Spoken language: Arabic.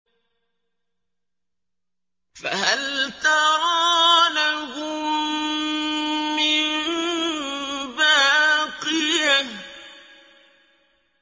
فَهَلْ تَرَىٰ لَهُم مِّن بَاقِيَةٍ